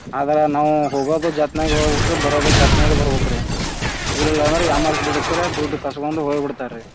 ಅದ್ರ ನಾವು ಹೋಗೋದು ಜಥನಾಗಿ ಹೋಗ್ಬೇಕು ರೀ ಬರೋದು ಜಾಥನಾಗಿ ಬರ್ಬೇಕು ರೀ. ಇಲ್ಲಾ ಅಂದ್ರೆ ಯಾಮಾರ್ಸಿ ಬಿಡ್ತರ್ ರೀ ದುಡ್ ಕಸ್ಕೊಂಡ್ ಹೋಗ್ ಬಿಡ್ತರಿ.